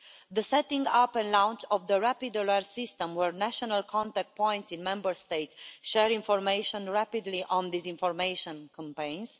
the setting-up and launch of the Rapid Alert System, where national contact points in Member States share information rapidly on disinformation campaigns